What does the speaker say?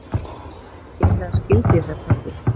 Eiginlega skildi ég þetta ekki.